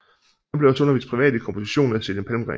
Han blev også undervist privat i komposition af Selim Palmgren